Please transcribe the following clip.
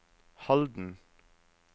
Halden